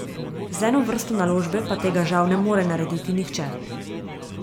Z eno vrsto naložbe pa tega žal ne more narediti nihče.